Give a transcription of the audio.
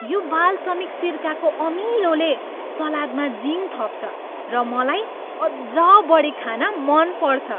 यो बालसमिक सिरकाको अमिलोले सलादमा जिङ थप्छ र मलाई अझ बढी खान मन पर्छ।